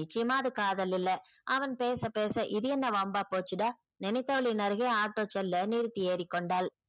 நிச்சயமா அது காதல் இல்ல அவன் பேச பேச இது என்ன வம்பா போச்சிடா நினைத்தவளின் அருகே auto செல்ல நிறுத்தி ஏறிக்கொண்டாள்.